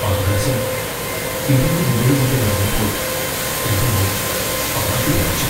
ആകാശം ഇടിയും മിന്നലും കൊണ്ട് നിറഞ്ഞപ്പോൾ എന്റെ മോൻ ആകെ വിറച്ചു.